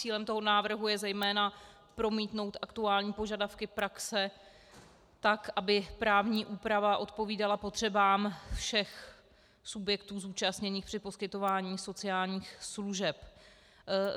Cílem toho návrhu je zejména promítnout aktuální požadavky praxe tak, aby právní úprava odpovídala potřebám všech subjektů zúčastněných při poskytování sociálních služeb.